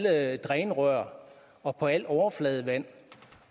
alle drænrør og på alt overfladevand